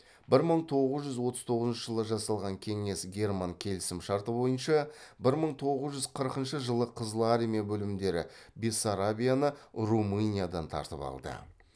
бір мың тоғыз жүз отыз тоғызыншы жылы жасалған кеңес герман келісім шарты бойынша бір мың тоғыз жүз қырқыншы жылы қызыл армия бөлімдері бессарабияны румыниядан тартып алды